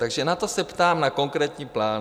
Takže na to se ptám, na konkrétní plán.